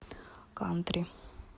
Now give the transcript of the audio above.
кантри